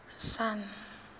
sun